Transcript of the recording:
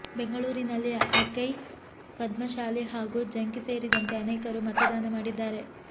ಬೆಂಗಳೂರಿನಲ್ಲಿ ಅಕೈ ಪದ್ಮಶಾಲಿ ಹಾಗೂ ಜಂಕಿ ಸೇರಿದಂತೆ ಅನೇಕರು ಮತದಾನ ಮಾಡಿದ್ದಾರೆ